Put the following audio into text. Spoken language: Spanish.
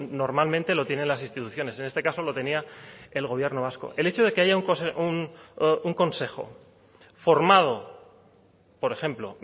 normalmente lo tienen las instituciones en este caso lo tenía el gobierno vasco el hecho de que haya un consejo formado por ejemplo